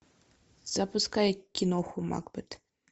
запускай киноху макбет